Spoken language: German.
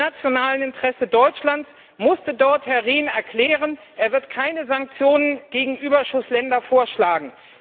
Im nationalen Interesse Deutschlands musste Herr Rehn dort erklären, er werde Sanktionen gegenüber Überschussländern vorschlagen.